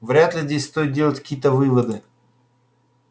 вряд ли здесь стоит делать какие-то выводы